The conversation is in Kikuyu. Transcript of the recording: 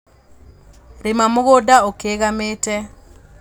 lĩma mũgũnda ũkĩgamĩte